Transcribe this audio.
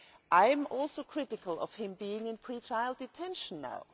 I am also critical of him being in pre trial detention now.